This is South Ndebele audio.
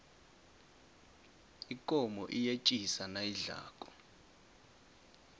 ikomo iyetjisa nayidlako